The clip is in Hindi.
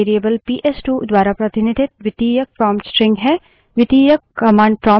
यह environment variable पीएसटू द्वारा प्रतिनिधित द्वितीयक prompt string है